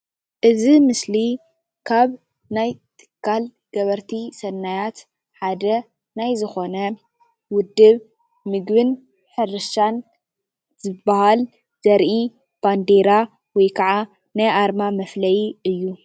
እዚ ምስሊ ካብ ናይ ትካል ገበርቲ ሰናያት ሓደ ናይ ዝኮነ ውድብ ምግብን ሕርሻን ዝባሃል ዘርኢ ባንዴራ ወይ ከዓ ናይ ኣርማ መፍለይ እዩ፡፡